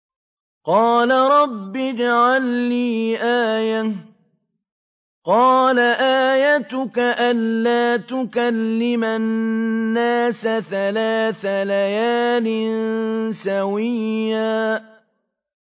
قَالَ رَبِّ اجْعَل لِّي آيَةً ۚ قَالَ آيَتُكَ أَلَّا تُكَلِّمَ النَّاسَ ثَلَاثَ لَيَالٍ سَوِيًّا